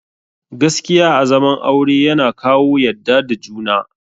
Gaskiya a zaman aure yana kawo yadda da juna